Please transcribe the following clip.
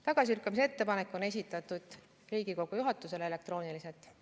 Tagasilükkamise ettepanek on esitatud Riigikogu juhatusele elektrooniliselt.